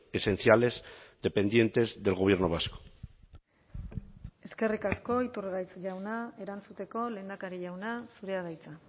esenciales dependientes del gobierno vasco eskerrik asko iturgaiz jauna erantzuteko lehendakari jauna zurea da hitza